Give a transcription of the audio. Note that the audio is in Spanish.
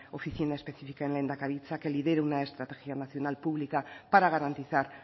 oficina específica en lehendakaritza que lidere una estrategia nacional publica para garantizar